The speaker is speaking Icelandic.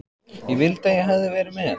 Ég vildi að ég hefði verið með